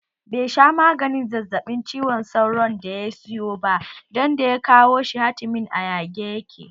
Be sha maganin zazzaɓin cizon sauron da ya siyo ba dan da ya kawo shi hatimin a yage yake